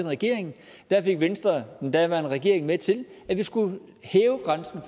regering fik venstre den daværende regering med til at vi skulle hæve grænsen